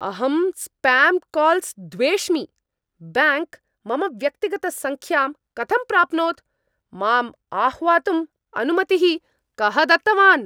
अहं spam calls द्वेष्मि, bank मम व्यक्तिगतसङ्ख्यां कथं प्राप्नोत्, माम् आह्वातुम् अनुमतिः कः दत्तवान्?